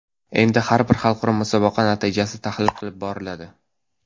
Endi har bir xalqaro musobaqa natijasi tahlil qilib boriladi.